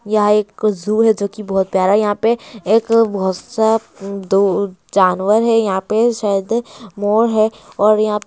यहां एक ज़ू है जो की बहुत प्यार यहां पर एक बोहतसा दो जानवर है यहां पर शायद मोर है और यहाँ पे--